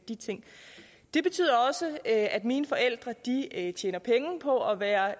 de ting det betyder også at mine forældre tjener penge på at være